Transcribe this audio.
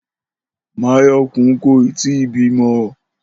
Máyò̩kún kò ì tíì bímo̩